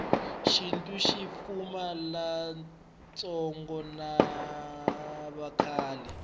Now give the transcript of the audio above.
shintu shipfuna lavatsongo navakhale